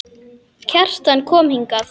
Kjartan kom hingað.